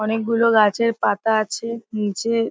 অনেক গুলো গাছের পাতা আছে নিচে।